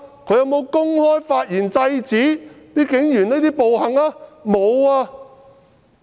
他有否公開發言制止警員的暴行？